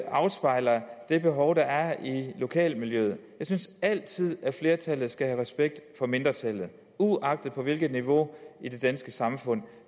afspejler det behov der er i lokalmiljøet jeg synes altid at flertallet skal have respekt for mindretallet uagtet hvilket niveau i det danske samfund